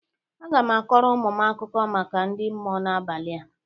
Aga m akọrọ ụmụ m akụkọ maka ndị mmụọ n'abalị a.